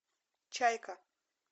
чайка